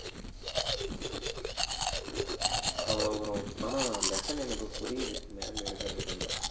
ஆமா bro ஆனா lesson எனக்கு புரியுது ma'am எடுக்கறது கொஞ்சம்